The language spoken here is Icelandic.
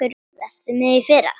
Varstu með í fyrra?